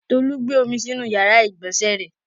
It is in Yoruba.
Tolú gbé omi sínú ìyàrá-ìgbọ̀nsẹ̀ rẹ.